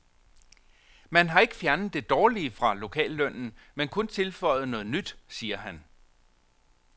Man har ikke fjernet det dårlige fra lokallønnen, men kun tilføjet noget nyt, siger han.